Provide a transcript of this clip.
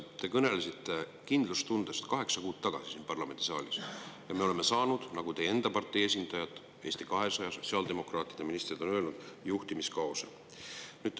Te kõnelesite siin parlamendisaalis kaheksa kuud tagasi kindlustundest, aga me oleme saanud, nagu teie enda partei esindajad ning Eesti 200 ja sotsiaaldemokraatide ministrid on öelnud, juhtimiskaose.